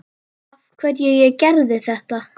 Af hverju ég gerði þetta.